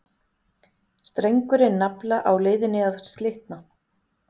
Strengurinn nafla á leiðinni að slitna.